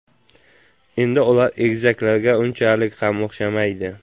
Endi ular egizaklarga unchalik ham o‘xshamaydi.